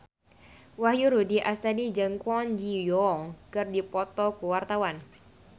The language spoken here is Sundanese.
Wahyu Rudi Astadi jeung Kwon Ji Yong keur dipoto ku wartawan